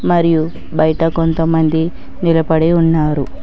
మరియు బయట కొంతమంది నిలప డి ఉన్నారు.